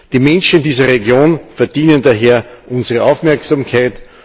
Die Menschen in dieser Region verdienen daher unsere Aufmerksamkeit.